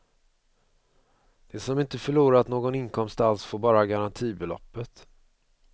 De som inte förlorat någon inkomst alls får bara garantibeloppet.